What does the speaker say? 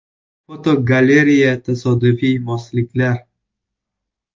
Fotogalereya: Tasodifiy mosliklar.